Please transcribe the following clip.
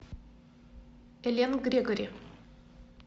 эллен грегори